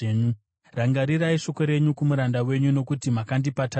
Rangarirai shoko renyu kumuranda wenyu, nokuti makandipa tariro.